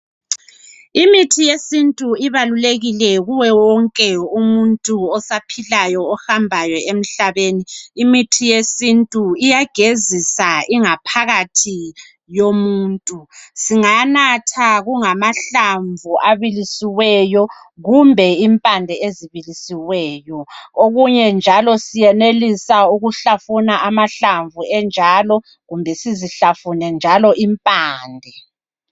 Imithi yesintu ibalulekile kuye wonke umuntu osaphilayo, ohambayo emhlabeni. Imithi yesintu, iyagezisa ingaphakathi yomuntu. Singanatha kungamahlamvu abilisiweyo, kumbe impande ezibilisiweyo. Okunye njalo siyenelisa ukuhlafuna amahlamvu enjalo, kumbe sizihlafune njalo impande.